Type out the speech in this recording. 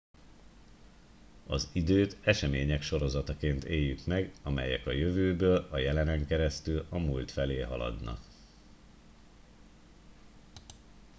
az időt események sorozataként éljük meg amelyek a jövőből a jelenen keresztül a múlt felé haladnak